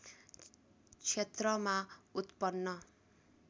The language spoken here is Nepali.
क्षेत्रमा उत्पन्न